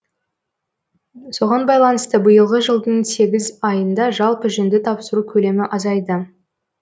соған байланысты биылғы жылдың сегіз айында жалпы жүнді тапсыру көлемі азайды